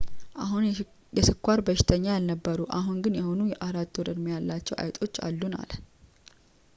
"አሁን የስኳር በሽተኛ ያልነበሩ አሁን ግን የሆኑ የ4-ወር-ዕድሜ ያላቸው አይጦች አሉን፣ አለ።